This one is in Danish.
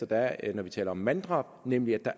der er når vi taler om manddrab nemlig at der